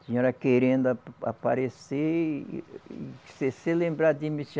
A senhora querendo aparecer e e se lembrar de mim.